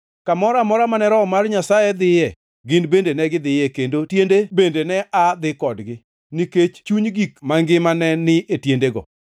Kamoro amora mane Roho mar Nyasaye dhiye, gin bende negidhiye, kendo tiende bende ne aa dhi kodgi, nikech chuny gik mangima ne ni e tiendego.